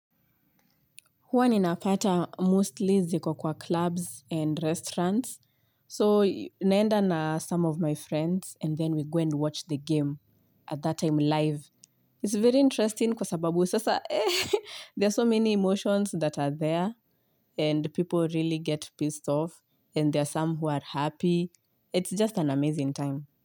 Huwa ninapata mostly ziko kwa clubs and restaurants. So naenda na some of my friends and then we go and watch the game at that time live. It's very interesting kwa sababu sasa there are so many emotions that are there and people really get pissed off and there are some who are happy. It's just an amazing time.